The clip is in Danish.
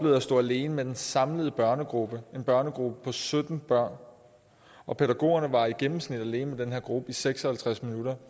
at stå alene med den samlede børnegruppe en børnegruppe på sytten børn og pædagogerne var i gennemsnit alene med den her gruppe i seks og halvtreds minutter